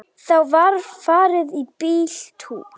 Þá var farið í bíltúr.